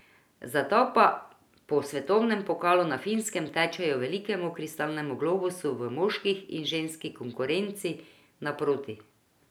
Zato pa po svetovnem pokala na Finskem tečejo velikemu kristalnemu globusu v moški in ženski konkurenci naproti.